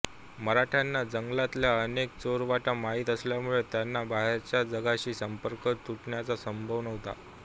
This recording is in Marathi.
मराठ्यांना जंगलातल्या अनेक चोरवाटा माहीत असल्यामुळे त्यांचा बाहेरच्या जगाशी संपर्क तुटण्याचा संभव नव्हता